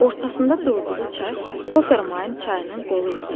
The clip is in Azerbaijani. Ortasında durduğu çay Kopermayn çayının qolu idi.